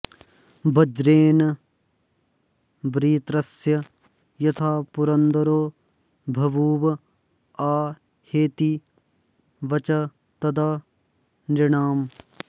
वज्रेण वृत्रस्य यथा पुरन्दरो बभूव हाहेति वचस्तदा नृणाम्